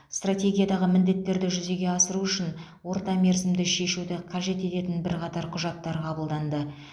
стратегиядағы міндеттерді жүзеге асыру үшін ортамерзімді шешуді қажет ететін бірқатар құжаттар қабылданды